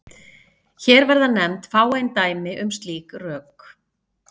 Hér verða nefnd fáein dæmi um slík rök.